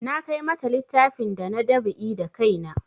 Na kai mata littafin da na dab'i da kai na